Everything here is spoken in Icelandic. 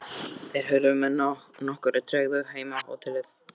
Þeir hurfu með nokkurri tregðu heim á hótelið.